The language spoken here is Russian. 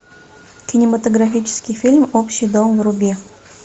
кинематографический фильм общий дом вруби